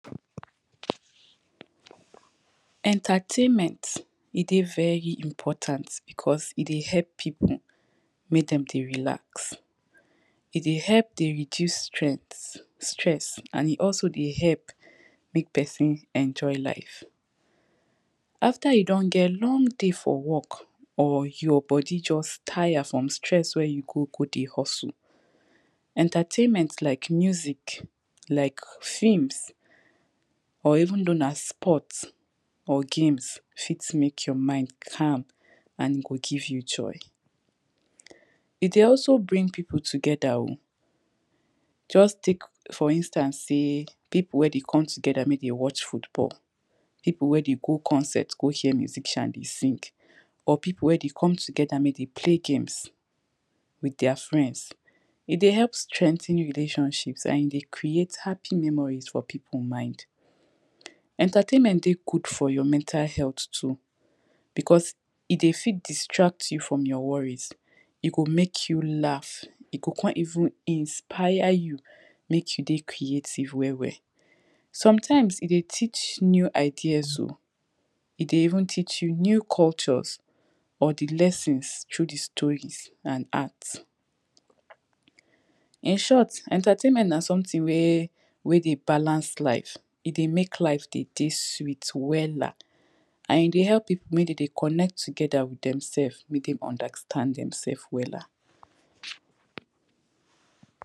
Entertainment, e dey very important, because ed ey help pipu mek dem dey relax, e dey help dey reduce strength, stress and e also dey help mek person enjoy life. After e don get long day for work, or your body just tire from stress wey you go, go dey hustle, entertainment like music, like films, or even though na sport or games, fit mek your mind calm and e go give you joy, e dey also bring pipo together o, just tek for instance sey, pipo wey de come together mek de watch football, pipo wey dey go concert go hear musician dey sing or pipo wey dey come together mek de play games with deir friends, e dey help strengthen relationships and e dey create happy memories for pipo mind. Entertainment dey good for your mental health too, because e dey from distract you from your worries, e go mek you laugh, e go con even inspire you mek you dey creative well well. Sometimes, e dey teach new ideas o, e dey even teach you new cultures or di lessons through dis stories and art. In short, entertainment na something wey, wey dey balance life, e dey mek life de dey sweet wella, and e dey help pipo mek de dey connect together with dem selves, mek dem understand dem sef wella.